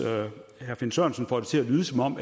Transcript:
herre finn sørensen får det til at lyde som om